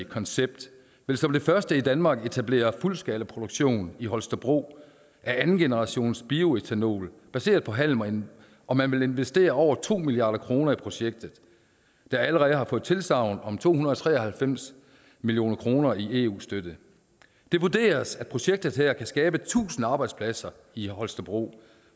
concept vil som det første i danmark etablere fuldskalaproduktion i holstebro af andengenerationsbioætanol baseret på halm og man vil investere over to milliard kroner i projektet der allerede har fået tilsagn om to hundrede og tre og halvfems million kroner i eu støtte det vurderes at projektet her kan skabe tusind arbejdspladser i holstebro